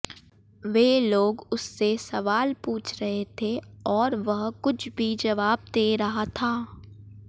वे लोग उससे सवाल पूछ रहे थे और वह कुछ भी जवाब दे रहा था